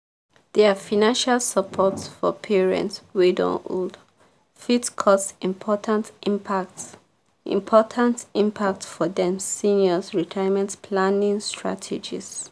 their financial support for parents wey don old fit cause important impact important impact for dem seniors' retirement planning strategies.